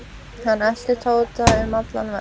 Hann elti Tóta um allan völl.